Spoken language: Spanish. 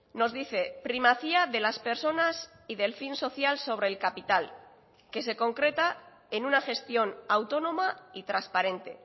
nos dice primacía de las personas y del fin social sobre el capital que se concreta en una gestión autónoma y transparente